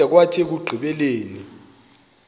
kwada kwathi ekugqibeleni